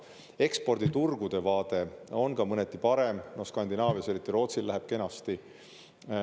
Eksporditurgude vaade on mõneti parem, Skandinaavias, eriti Rootsil, läheb kenasti.